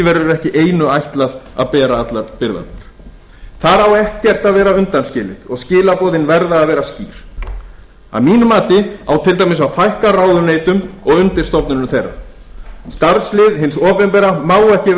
verður ekki eigum ætlað að bera allar byrðarnar þar á ekkert að vera undanskilið og skilaboðin verða að vera skýr að mínu mati á til dæmis að fækka ráðuneytum og undirstofnunum þeirra starfslið hins opinbera má ekki